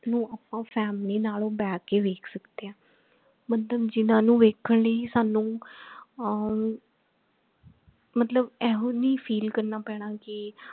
ਨੂੰ family ਨਾਲੋਂ ਬਹਿ ਕੇ ਦੇਖ ਸਕਦੇ ਹੈ ਮਤਲਬ ਜਿਹਨਾਂ ਨੂੰ ਵੇਖ ਲਈ ਸਾਨੂ ਅਹ ਮਤਲਬ ਇਹੋ ਨਹੀਂ feel ਕਰਨਾ ਪੈਣਾ ਕਿ